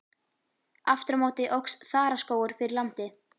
Aftur á móti óx þaraskógur fyrir landi.